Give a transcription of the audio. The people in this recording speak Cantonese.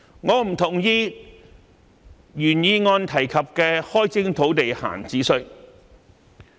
我不同意原議案開徵土地閒置稅的建議。